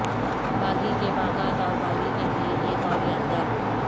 باغی کے باغات اور باغی کے لئے ایک اور یادگار